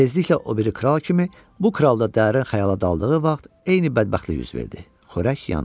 Tezliklə o biri kral kimi bu kral da dərin xəyala daldığı vaxt eyni bədbəxtlik üz verdi: xörək yandı.